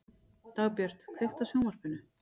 Dagbjört, kveiktu á sjónvarpinu.